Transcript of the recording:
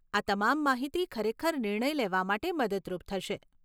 આ તમામ માહિતી ખરેખર નિર્ણય લેવા માટે મદદરૂપ થશે.